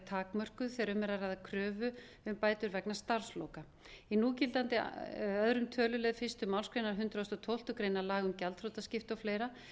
takmörkuð þegar um er að ræða kröfu um bætur vegna starfsloka í núgildandi öðrum tölulið fyrstu málsgrein hundrað og tólftu grein laga um gjaldþrotaskipti og fleira